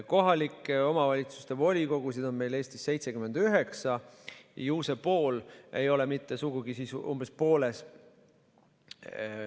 Kohalike omavalitsuste volikogusid on Eestis 79. Mida meile öeldi?